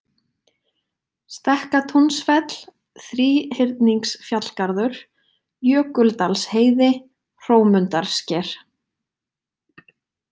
Stekkatúnsfell, Þríhyrningsfjallgarður, Jökuldalsheiði, Hrómundarsker